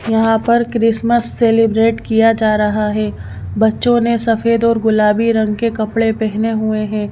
यहां पर Christmas celebrate किया जा रहा है बच्चों ने सफेद और गुलाबी रंग के कपड़े पहने हुए हैं।